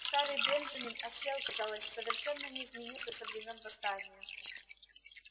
старый бенджамин осел казалось совершенно не изменился со времён восстания